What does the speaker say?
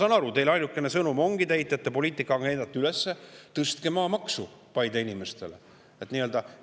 Ma saan aru, et teie ainuke sõnum Paide ongi – te ehitate poliitilist agendat üles –, et tõstke maamaksu.